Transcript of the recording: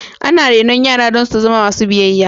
Ana renon yara don su zama masu biyayya.